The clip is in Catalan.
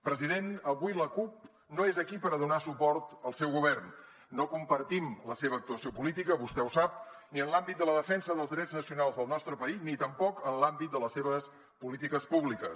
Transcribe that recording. president avui la cup no és aquí per a donar suport al seu govern no compartim la seva actuació política vostè ho sap ni en l’àmbit de la defensa dels drets nacionals del nostre país ni tampoc en l’àmbit de les seves polítiques públiques